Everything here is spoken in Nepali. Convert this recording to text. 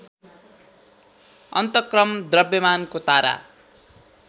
अन्तक्रम द्रव्यमानको तारा